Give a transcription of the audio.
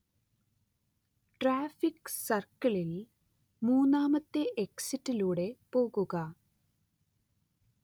traffic സർക്കിളിൽ മൂന്നാമത്തെ എക്സിറ്റിലൂടെ പോകുക